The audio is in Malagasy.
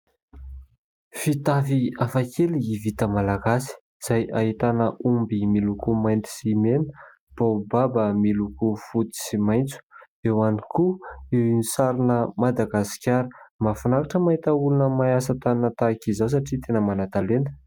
Fitafy hafakely vita Malagasy izay ahitana omby miloko mainty sy mena, baobaba miloko fotsy sy maitso, eo ihany koa ny sarina Madagasikara. Mahafinaritra mahita olona mahay asa tanana tahaka izao satria tena manan-talenta.